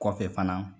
Kɔfɛ fana